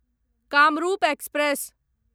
Kamrup express